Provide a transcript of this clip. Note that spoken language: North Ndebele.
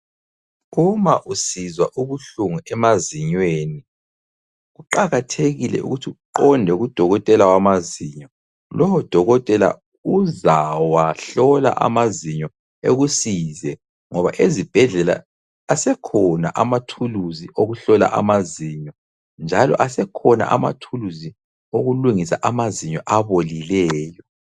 Uma usizwa ubuhlungu emazinyweni kuqakathekile ukuthi uqonde kudokotela wamazinyo. Lowo dokotela uzawahlola amazinyo ekusize ngoba ezibhedlela asekhona amathuluzi okuhlola amazinyo njalo asekhona amathuluzi okulungisa amazinyo abolileyo.